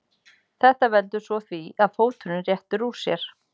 Þetta veldur svo því að fóturinn réttir úr sér.